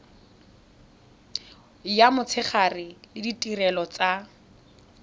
ya motshegare le ditirelo tsa